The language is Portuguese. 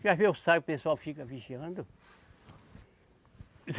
Que às vezes eu saio, o pessoal fica vigiando.